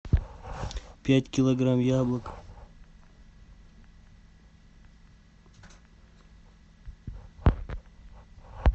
пять килограмм яблок